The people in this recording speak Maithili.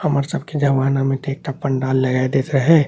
हमर सब के जमाना में त एकटा पंडाल लगाय देत रहे।